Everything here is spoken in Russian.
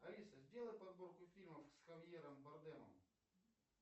алиса сделай подборку фильмов с хавьером бардемом